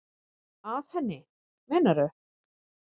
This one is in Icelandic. Að henni, meinarðu?